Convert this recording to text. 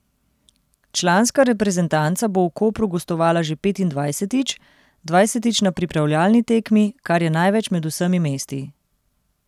Članska reprezentanca bo v Kopru gostovala že petindvajsetič, dvajsetič na pripravljalni tekmi, kar je največ med vsemi mesti.